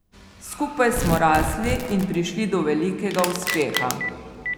Skupaj smo rasli in prišli do velikega uspeha.